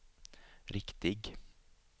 riktig